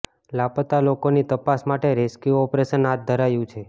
લાપતા લોકોની તપાસ માટે રેસ્ક્યૂ ઓપરેશન હાથ ધરાયું છે